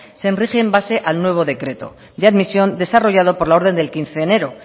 se rige en base al nuevo decreto de admisión desarrollado por la orden del quince de enero